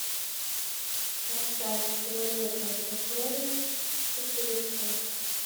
поставь планета сокровищ четыре ка